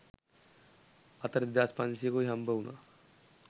අතට දෙදාස් පන්සීයකුයි හම්බවුනා.